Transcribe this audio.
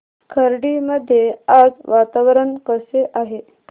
खर्डी मध्ये आज वातावरण कसे आहे